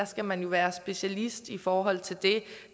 skal man jo være specialist i forhold til det